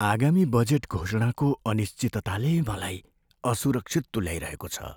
आगामी बजेट घोषणाको अनिश्चितताले मलाई असुरक्षित तुल्याइरहेको छ।